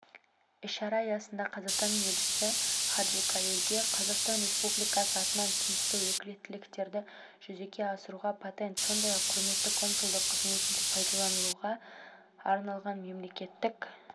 іс-шара аясында қазақстанның елшісі хаджикалилге қазақстан республикасы атынан тиісті өкілеттіктерді жүзеге асыруға патент сондай-ақ құрметті консулдық қызметінде пайдалануға арналған мемлекеттік